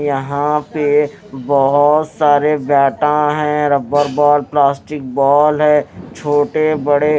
यहां पे बहोत सारे बैटा हैं रबर बॉल प्लास्टिक बॉल है छोटे बड़े --